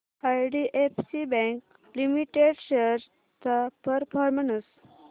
IDFC bank limited shares चा performance